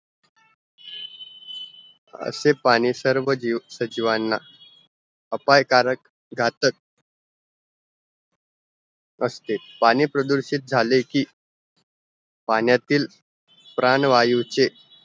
असे पाणी सर्व जीव सचिवांना अपायकारक घातक असते पाणी प्रदूषित झालेकी पाण्यातील प्राणवायू चे